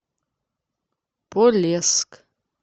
полесск